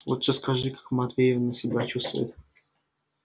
лучше скажи как матвеевна себя чувствует